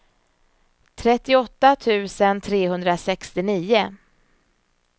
trettioåtta tusen trehundrasextionio